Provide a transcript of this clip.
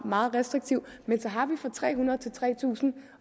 meget restriktiv men så har vi strækninger fra tre hundrede til tre tusind